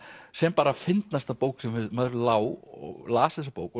sem bara fyndnasta bók sem maður lá og las þessa bók